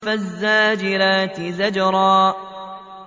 فَالزَّاجِرَاتِ زَجْرًا